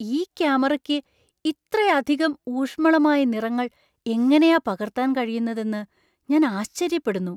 ഈ ക്യാമറയ്ക്ക് ഇത്രയധികം ഊഷ്മളമായ നിറങ്ങൾ എങ്ങനെയാ പകർത്താൻ കഴിയുന്നതെന്ന് ഞാൻ ആശ്ചര്യപ്പെടുന്നു!